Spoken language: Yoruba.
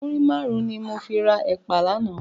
Múrí márùn ni mó fi rá èpá làná